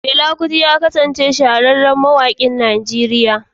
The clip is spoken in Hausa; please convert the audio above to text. Fela Kuti ya kasance shahararren mawaƙi a Nigeriya.